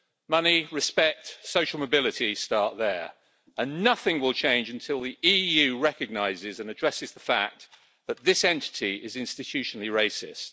Money, respect, social mobility start there and nothing will change until the EU recognises and addresses the fact that this entity is institutionally racist.